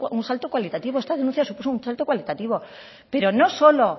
un salto cualitativo esta denuncia supuso un salto cualitativo pero no solo